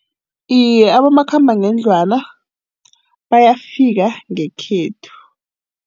Iye, abomakhambangendlwana bayafika ngekhethu.